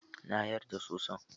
Na yarda soson.